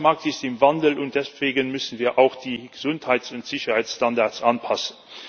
Der Arbeitsmarkt ist im Wandel, und deswegen müssen wir auch die Gesundheits und Sicherheitsstandards anpassen.